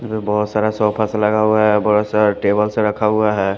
इधर बहुत सारा सोफस लगा हुआ है बहुत सारा टेबल्स रखा हुआ है ।